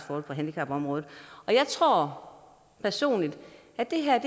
på handicapområdet jeg tror personligt at det her